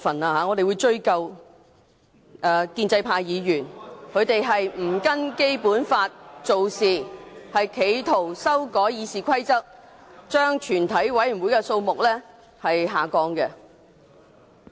我們會追究建制派議員不按照《基本法》做事，企圖修改《議事規則》，將全體委員會的法定人數下調。